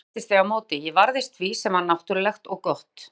Samt streittist ég á móti, ég varðist því sem var náttúrlegt og gott.